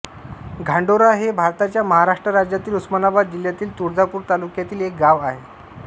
घांडोरा हे भारताच्या महाराष्ट्र राज्यातील उस्मानाबाद जिल्ह्यातील तुळजापूर तालुक्यातील एक गाव आहे